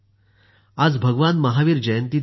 आज भगवान महावीर जयंती देखील आहे